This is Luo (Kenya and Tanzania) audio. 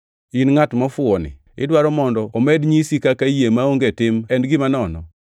In ngʼat mofuwoni idwaro mondo omed nyisi kaka yie maonge tim en gima nono?